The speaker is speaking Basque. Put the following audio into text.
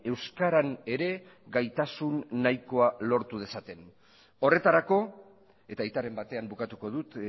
euskaran ere gaitasun nahikoa lortu dezaten horretarako eta aitaren batean bukatuko dut